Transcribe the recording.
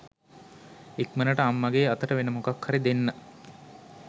ඉක්මනට අම්මගේ අතට වෙන මොකක් හරි දෙන්න